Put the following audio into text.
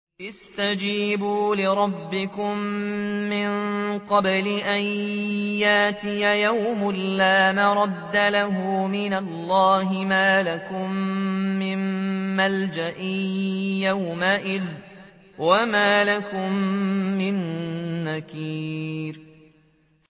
اسْتَجِيبُوا لِرَبِّكُم مِّن قَبْلِ أَن يَأْتِيَ يَوْمٌ لَّا مَرَدَّ لَهُ مِنَ اللَّهِ ۚ مَا لَكُم مِّن مَّلْجَإٍ يَوْمَئِذٍ وَمَا لَكُم مِّن نَّكِيرٍ